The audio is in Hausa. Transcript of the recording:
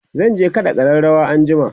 zan kaɗa ƙararawar anjima